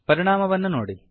ಪರಿಣಾಮವನ್ನು ನೋಡಿ